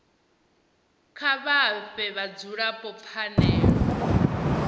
kha vha fhe vhadzulapo pfanelo